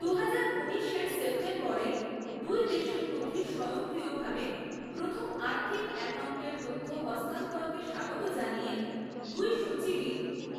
দুহাজার ঊনিশ এর সেপ্টেম্বরে দুই দেশের মধ্যে স্বয়ংক্রিয়ভাবে প্রথম আর্থিক অ্যাকাউন্টের তথ্য হস্তান্তরকে স্বাগত জানিয়ে দুই সচিবই